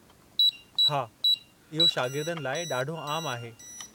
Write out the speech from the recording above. हा, इहो शागिर्दनि लाइ ॾाढो आमु आहे।